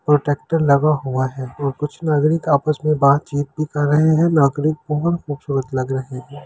Protector लगा हुआ है और कुछ नागरिक आपस में बातचीत भी कर रहे है नागरिक बहुत खूबसूरत लग रहे है।